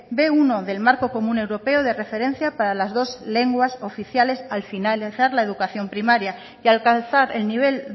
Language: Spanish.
be uno del marco común europeo de referencia para las dos lenguas oficiales al finalizar la educación primaria y alcanzar el nivel